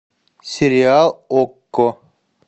сериал окко